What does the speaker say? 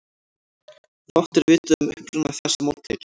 Fátt er vitað um uppruna þessa máltækis.